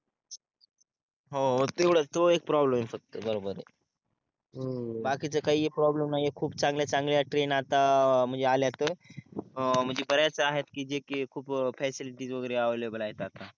हो तेवढाच तो एक प्रोब्लेम आहे फक्त बरोबर आहे बाकीच काही एक प्रोब्लेम नाही आहे खूप चांगल्या चांगल्या ट्रेन आता म्हणजे आल्यात अं बऱ्याच आहेत कि जे कि फ्यासिलीटी वगेरे अवायलेबल आहेत आता